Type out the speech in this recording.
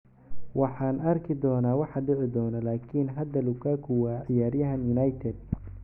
"Waxaan arki doonaa waxa dhici doona - laakiin hadda Lukaku waa ciyaaryahan United."